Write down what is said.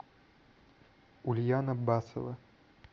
ульяна басова